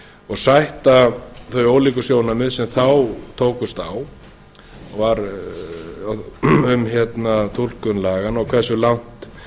og sætta þau líka sjónarmið sem þá tókust á um túlkun laganna og hversu langt